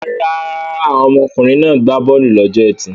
Rárá, àwọn ọkùnrin náà gbá bọ́ọ́lù lọ́jọ́ ẹtì.